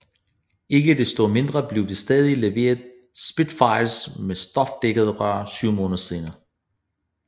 Ikke desto mindre blev der stadig leveret Spitfires med stofdækkede ror syv måneder senere